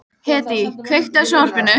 Hedí, kveiktu á sjónvarpinu.